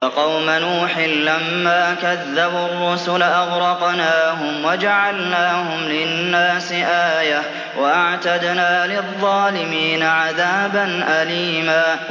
وَقَوْمَ نُوحٍ لَّمَّا كَذَّبُوا الرُّسُلَ أَغْرَقْنَاهُمْ وَجَعَلْنَاهُمْ لِلنَّاسِ آيَةً ۖ وَأَعْتَدْنَا لِلظَّالِمِينَ عَذَابًا أَلِيمًا